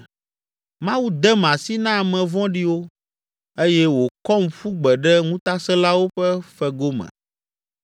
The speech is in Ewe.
Mawu dem asi na ame vɔ̃ɖiwo eye wòkɔm ƒu gbe ɖe ŋutasẽlawo ƒe fego me.